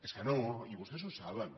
és que no i vostès ho saben